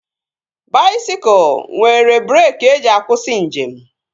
Baisikụl nwere breeki eji akwụsị njem